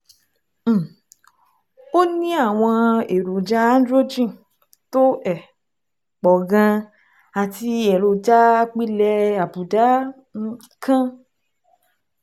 um Ó ní àwọn èròjà androgen tó um pọ̀ gan-an àti èròjà apilẹ̀ àbùdá um kan